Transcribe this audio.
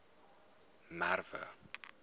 merwe